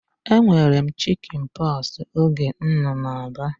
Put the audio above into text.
E nwere m chikin pọksi oge m nọ na Aba